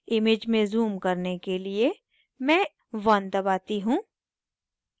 image में zoom करने के लिए मैं 1 दबाती हूँ